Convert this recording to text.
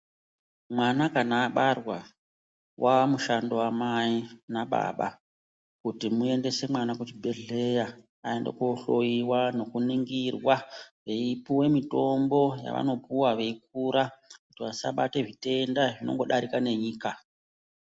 Mwana kana abarwa wamushando wamai nababa kuti muendese mwana kuzvibhehlera aende kohloyiwa , nekuningirwa veipiwe mitombo yavanopuwa veikura ,kuti vasabate zvitenda zvinongodarika nenyika.